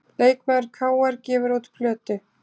Leikmaður KR gefur út plötu